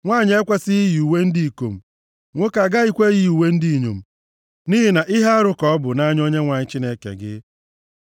Nwanyị ekwesighị iyi uwe ndị ikom, nwoke agaghị eyikwa uwe ndị inyom. Nʼihi na ihe arụ ka ọ bụ nʼanya Onyenwe anyị Chineke gị.